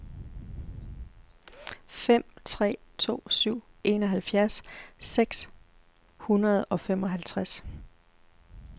fem tre to syv enoghalvfjerds seks hundrede og femoghalvtreds